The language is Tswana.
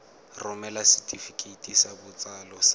romela setefikeiti sa botsalo sa